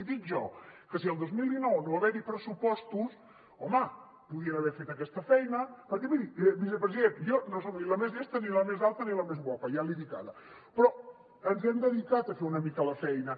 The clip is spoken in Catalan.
i dic jo que si al dos mil dinou no va haver hi pressupostos home podien haver fet aquesta feina perquè miri vicepresident jo no soc ni la més llesta ni la més alta ni la més guapa ja l’hi dic ara però ens hem dedicat a fer una mica la feina